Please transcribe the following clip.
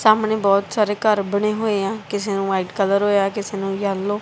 ਸਾਹਮਣੇ ਬਹੁਤ ਸਾਰੇ ਘਰ ਬਣੇ ਹੋਏ ਆ ਕਿਸੇ ਨੂੰ ਵਾਈਟ ਕਲਰ ਹੋਇਆ ਕਿਸੇ ਨੂੰ ਯੈਲੋ --